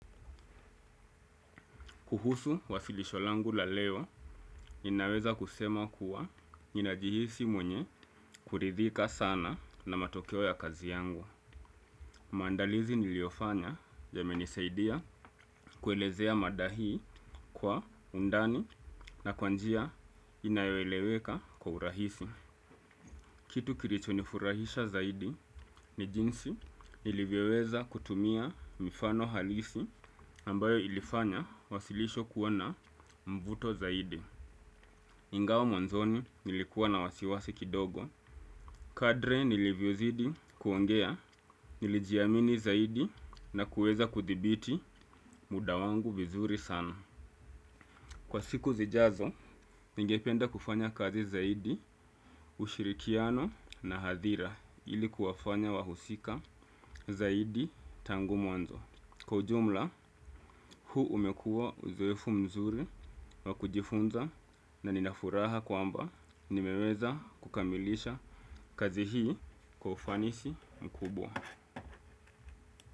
Kuhusu wasilisho langu la leo ninaweza kusema kuwa ninajihisi mwenye kuridhika sana na matokeo ya kazi yangu. Maandalizi niliofanya yamenisaidia kuelezea madahi kwa undani na kwa njia inayoeleweka kwa urahisi. Kitu kilichonifurahisha zaidi ni jinsi nilivyoweza kutumia mifano halisi ambayo ilifanya wasilisho kuwa na mvuto zaidi. Ingawa mwanzoni nilikuwa na wasiwasi kidogo kadri nilivyozidi kuongea nilijiamini zaidi na kuweza kuthibiti muda wangu vizuri sana. Kwa siku zijazo ningependa kufanya kazi zaidi ushirikiano na hadhira ili kuwafanya wahusika zaidi tangu mwanzo. Kwa ujumla, huu umekuwa uzoefu mzuri wa kujifunza na nina furaha kwamba nimeweza kukamilisha kazi hii kwa ufanisi mkubwa.